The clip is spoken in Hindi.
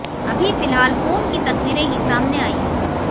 अभी फिलहाल फोन की तस्वीरें ही सामने आई है